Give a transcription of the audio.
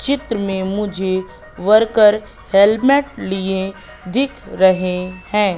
चित्र में मुझे वर्कर हेलमेट लिए दिख रहे हैं।